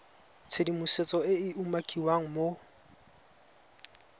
tshedimosetso e e umakiwang mo